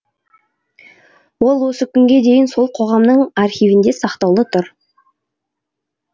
ол осы күнге дейін сол қоғамның архивінде сақтаулы тұр